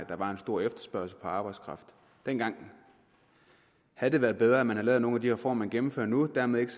der var en stor efterspørgsel på arbejdskraft dengang havde det været bedre at man havde lavet nogle af de reformer man gennemfører nu dermed ikke